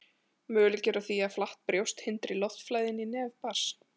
möguleiki er á því að flatt brjóst hindri loftflæði inn í nef barns